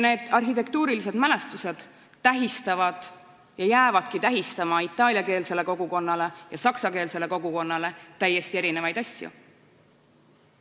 Need arhitektuurimälestised tähistavad ja jäävadki itaaliakeelsele kogukonnale ja saksakeelsele kogukonnale tähistama täiesti erinevaid asju.